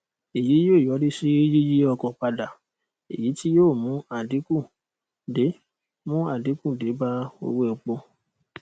èyí yóò yọrí sí yíyí ọkọ padà èyí tí yóò mú àdínkù dé mú àdínkù dé bá owó epo